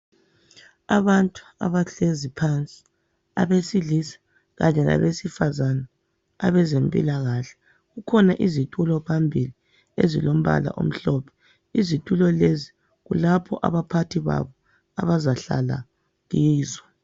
Abantu abahlezi phandle abesilisa Kanye labesifazana abezempilakahle kukhona izitulo phambili izitulo ezilombala omhlophe. Izitulo lezi kulapho abaphathi babo abazahlala kizo.